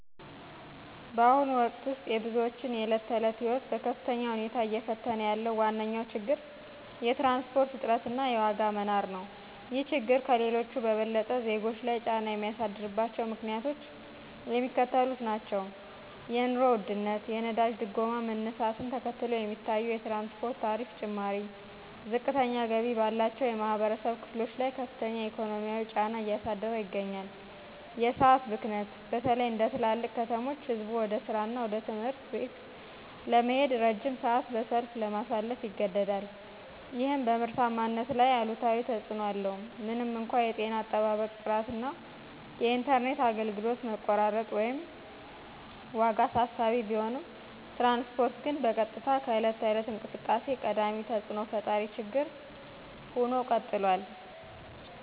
በአሁኑ ወቅት ውስጥ የብዙዎችን የዕለት ተዕለት ሕይወት በከፍተኛ ሁኔታ እየተፈታተነ ያለው ዋነኛው ችግር የትራንስፖርት እጥረት እና የዋጋ መናር ነው። ይህ ችግር ከሌሎቹ በበለጠ ዜጎች ላይ ጫና የሚያሳድርባቸው ምክንያቶች የሚከተሉት ናቸው የኑሮ ውድነት የነዳጅ ድጎማ መነሳትን ተከትሎ የሚታየው የትራንስፖርት ታሪፍ ጭማሪ፣ ዝቅተኛ ገቢ ባላቸው የማኅበረሰብ ክፍሎች ላይ ከፍተኛ የኢኮኖሚ ጫና እያሳደረ ይገኛል። የሰዓት ብክነት በተለይ እንደ ትላልቅ ከተሞች ሕዝቡ ወደ ሥራና ወደ ትምህርት ቤት ለመሄድ ረጅም ሰዓት በሰልፍ ለማሳለፍ ይገደዳል። ይህም በምርታማነት ላይ አሉታዊ ተጽእኖ አለው። ምንም እንኳን የጤና አጠባበቅ ጥራት እና የኢንተርኔት አገልግሎት መቆራረጥ (ወይም ዋጋ) አሳሳቢ ቢሆኑም፣ ትራንስፖርት ግን በቀጥታ ከዕለት ተዕለት እንቅስቃሴ ቀዳሚ ተፅእኖ ፈጣሪ ችግር ሁኖ ቀጥሏል።